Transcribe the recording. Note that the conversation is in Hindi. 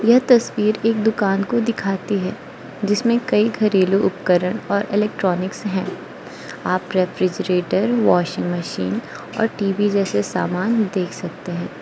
यह तस्वीर एक दुकान को दिखाती है जिसमें कई घरेलू उपकरण और इलेक्ट्रॉनिक्स है आप रेफ्रिजरेटर वॉशिंग मशीन और टी_वी जैसे सामान देख सकते हैं।